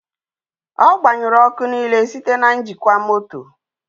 Ọ gbanyụrụ ọkụ niile site na njikwa moto.